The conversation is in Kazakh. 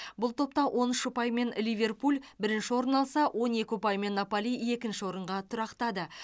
бұл топта он үш ұпаймен ливерпуль бірінші орын алса он екі ұпаймен наполи екінші орынға тұрақтады